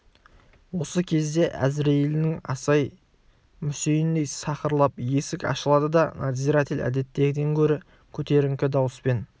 осы кезде әзірейілінің асай-мүсейіндей сақырлап есік ашылды да надзиратель әдеттегіден гөрі көтеріңкі дауыспен